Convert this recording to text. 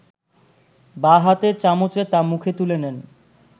বাঁ হাতে চামচে তা মুখে তুলে নেন